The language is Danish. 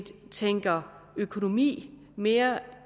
tænker økonomi mere